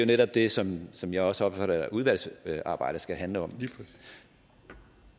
netop det som som jeg også opfatter at udvalgsarbejdet skal handle om